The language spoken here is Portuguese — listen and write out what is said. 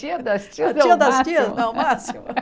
Tia das tias é o máximo. A tia das tias não é o máximo